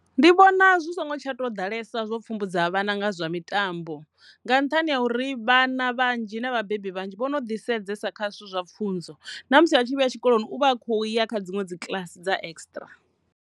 Ndi vhona zwi songo tsha tou ḓalesa zwo pfhumbudza vhana nga zwa mitambo nga nṱhani ha uri vhana vhanzhi na vhabebi vhanzhi vhono ḓi sedzesa kha zwithu zwa pfhunzo na musi a tshi vhuya tshikoloni uvha a kho ya kha dziṅwe dzi kiḽasi dza extra.